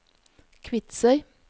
Kvitsøy